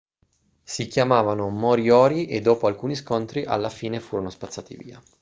si chiamavano moriori e dopo alcuni scontri alla fine furono spazzati via